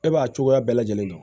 E b'a cogoya bɛɛ lajɛlen dɔn